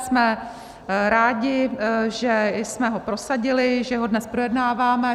Jsme rádi, že jsme ho prosadili, že ho dnes projednáváme.